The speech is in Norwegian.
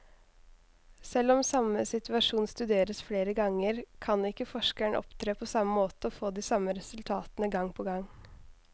Selv om samme situasjon studeres flere ganger, kan ikke forskeren opptre på samme måte og få de samme resultatene gang på gang.